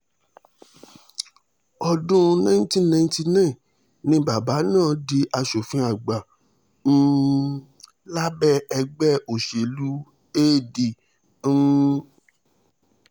ọdún nineteen ninety nine ni bàbá náà di asòfin àgbà um lábẹ́ ẹgbẹ́ òṣèlú ad um